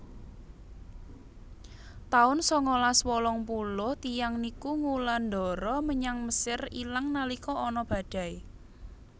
taun sangalas wolung puluh tiyang niku ngulandara menyang Mesir ilang nalika ana badai